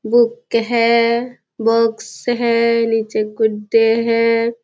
Book है box है नीचे गुड्डे है।